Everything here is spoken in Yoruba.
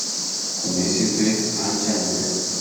kò ní í sí pé à ń jà níbẹ